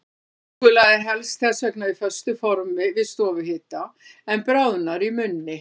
Súkkulaði helst þess vegna á föstu formi við stofuhita, en bráðnar í munni.